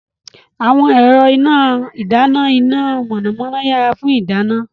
Àwọn ẹ̀rọ ìdáná iná mọ̀nàmọ́ná yára fún ìdáná.